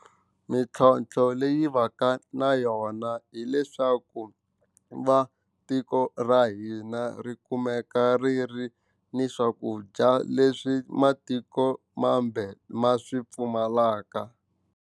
Mintlhontlho leyi va ka na yona hileswaku va tiko ra hina ri kumeka ri ri ni swakudya leswi matiko mambe ma swi pfumalaka.